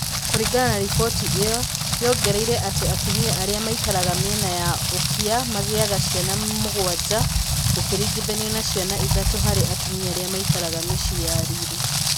Kũringana na riboti ĩyo, yongereire atĩ atumia arĩa maikaraga mĩena ya ũkĩa magĩaga cĩana mĩgwanja gũkĩringithanio na ciana ithatũ harĩ atumia arĩa maikaraga mĩciĩ ya riri